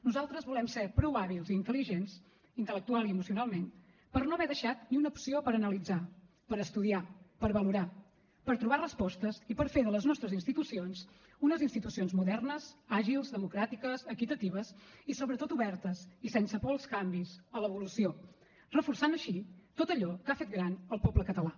nosaltres volem ser prou hàbils i intel·ligents intel·lectualment i emocionalment per no haver deixat ni una opció per analitzar per estudiar per valorar per trobar respostes i per fer de les nostres institucions unes institucions modernes àgils democràtiques equitatives i sobretot obertes i sense por als canvis a l’evolució reforçant així tot allò que ha fet gran al poble català